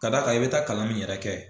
K'a da kan i bi taa kalan mun yɛrɛ kɛ